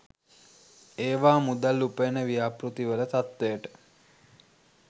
ඒවා මුදල් උපයන ව්‍යාපෘතිවල තත්ත්වයට